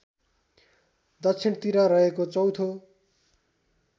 दक्षिणतिर रहेको चौथो